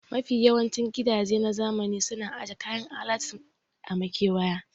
Mafi yawancin gidaje na zamani suna aje kayan alatu a makewaya